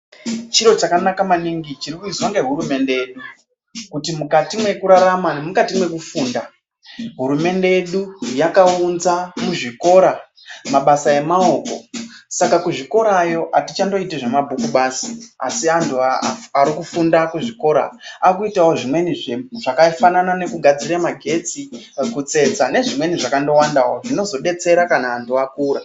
Chiro chakanaka maningi chiri kuizwa nehurumende yedu kuti mukati mwekurarama nemumati mwekufunda hurumende yakaunzwa muzvikora mabasa emaoko saka kuzvikorayo atichandoiti zvemabhuku basi asi antu arikufunda kuzvikora arikuitawo zvimweni zvakafanana nekigadzira magetsi, kutsetsa nezvimweni zvakangowandawo zvimodetsera kana antu akura.